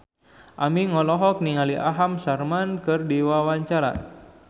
Aming olohok ningali Aham Sharma keur diwawancara